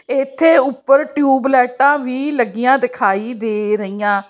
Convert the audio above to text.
ਇਥੇ ਉੱਪਰ ਟਿਊਬ ਲਾਈਟਾ ਵੀ ਲੱਗੀਆਂ ਦਿਖਾਈ ਦੇ ਰਹੀਆਂ।